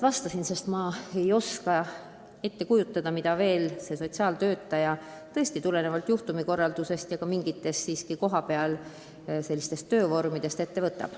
Aga minagi ei suuda ette kujutada, mida sotsiaaltöötaja juhtumikorraldusega ja kõige muuga tegeledes kohapeal ette võtab.